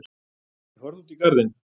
Ég horfði út í garðinn.